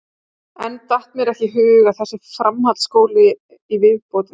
Enn datt mér ekki í hug að þessi framhaldsskóli í viðbót við